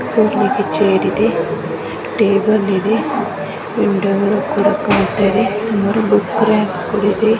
ಕೂರಲಿಕ್ಕೆ chair ಇದೆ. Table ಇದೆ. Window ಗಳು ಕೂಡ ಕಾಣ್ತಾ ಇದೆ. ಸುಮಾರು ಬುಕ್ ರಾಕ್ಸ್ ಗಳು ಇದೆ.